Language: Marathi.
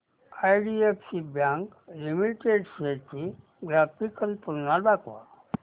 आयडीएफसी बँक लिमिटेड शेअर्स ची ग्राफिकल तुलना दाखव